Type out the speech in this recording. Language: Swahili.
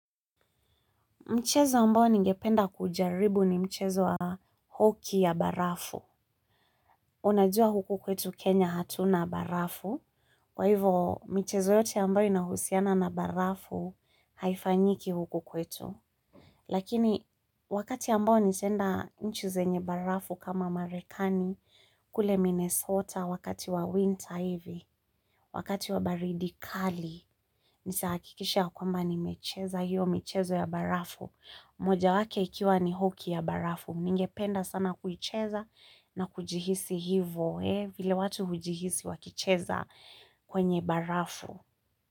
Mchezo ambao ningependa kujaribu ni mchezo wa hoki ya barafu. Unajua huku kwetu Kenya hatuna barafu. Kwa hivyo, michezo yote ambayo inahusiana na barafu haifanyiki huku kwetu. Lakini, wakati ambao nitaenda nchi zenye barafu kama Marekani, kule Minnesota wakati wa winter hivi, wakati wa baridi kali, nitahakikisha kwamba nimecheza hiyo michezo ya barafu. Moja wake ikiwa ni hoki ya barafu, ningependa sana kuicheza na kujihisi hivo, eh, vile watu hujihisi wakicheza kwenye barafu.